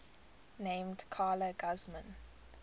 named carla guzman